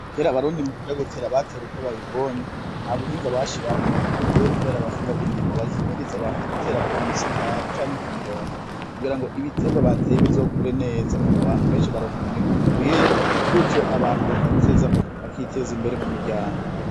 Kera abarundi mukuja gutera batera uko babibonye, nta buhinga bashiramwo. Ariko ubu kubera abahinga b'indimo bahimiriza abantu gutera ku misitari canke ku mirongo kugira ngo ibiterwa bateye bizokure neza; abantu benshi baronka umwimbu ukwiye, gutyo abantu bakiteza imbere mu miryango.